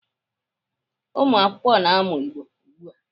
Ụmụakwụkwọ na-amụ Igbo ugbu a.